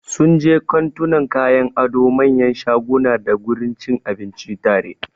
Sunje kantunan kayan ado, manyan shaguna dagurin cin abinci tare.